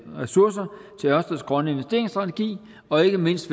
ressourcer til ørsteds grønne investeringsstrategi og ikke mindst